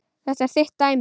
Þetta er þitt dæmi.